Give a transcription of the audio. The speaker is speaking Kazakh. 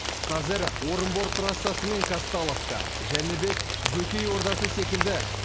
қазір орынбор трассасы мен казталовка жәнібек бөкей ордасы секілді